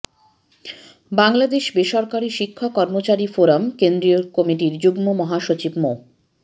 বাংলাদেশ বেসরকারি শিক্ষক কর্মচারী ফোরাম কেন্দ্রীয় কমিটির যুগ্ম মহাসচিব মো